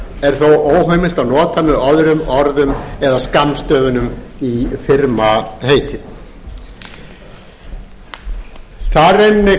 þó óheimilt að nota með öðrum orðum eða skammstöfunum í firmaheiti þar einmitt